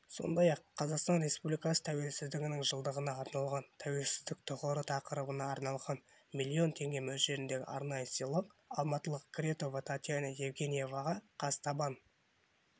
сондай-ақ қазақстан республикасы тәуелсіздігінің жылдығына арналған тәуелсіздік тұғыры тақырыбына арналған миллион теңге мөлшеріндегі арнайы сыйлық алматылық кретова татьяна евгеньевнаға қазтабан